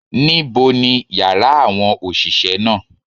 Níbo ni yàrá àwọn òsìsé náà